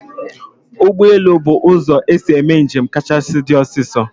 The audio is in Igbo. Ụgbọelu bu ụzọ esi eme njem kachasị di osiso